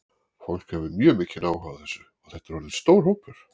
Fólk hefur mjög mikinn áhuga á þessu og þetta er orðinn stór hópur?